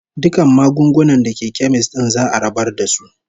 Dukkan magunguna da ke kemis din za'a rabar da su.